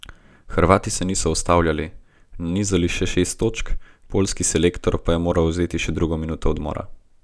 Hrvati se niso ustavljali, nanizali še šest točk, poljski selektor pa je moral vzeti še drugo minuto odmora.